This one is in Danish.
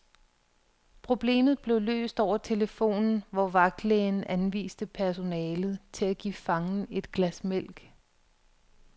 Problemet blev løst over telefonen, hvor vagtlægen anviste personalet til at give fangen et glas mælk.